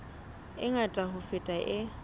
e ngata ho feta e